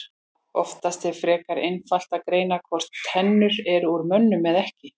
Oftast er frekar einfalt að greina hvort tennur eru úr mönnum eða ekki.